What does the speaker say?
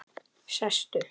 Sestu